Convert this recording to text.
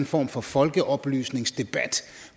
form for folkeoplysningsdebat